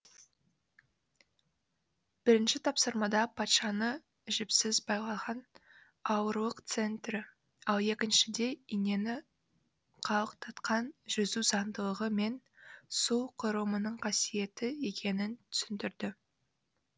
бірінші тапсырмада патшаны жіпсіз байлаған ауырлық центрі ал екіншіде инені қалықтатқан жүзу заңдылығы мен су құрылымының қасиеті екенін түсіндірді